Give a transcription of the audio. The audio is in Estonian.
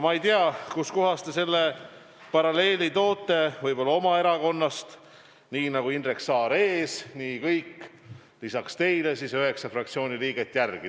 Ma ei tea, kustkohast te selle paralleeli toote, võib-olla oma erakonnast – nii nagu Indrek Saar ees, nii kõik üheksa fraktsiooni liiget järel.